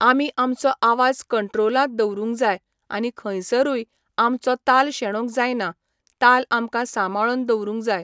आमी आमचो आवाज कंट्रोलांत दवरुंक जाय आनी खंयसरूय आमचो ताल शेणोंक जायना. ताल आमकां सांबळोन दवरुंक जाय.